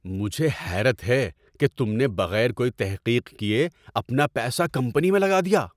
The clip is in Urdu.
مجھے حیرت ہے کہ تم نے بغیر کوئی تحقیق کیے اپنا پیسہ کمپنی میں لگا دیا۔